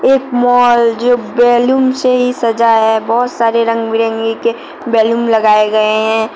एक मॉल जो बैलून से ही सजा है बहोत सारे रंग बिरंगी के बैलून लगाए गए हैं।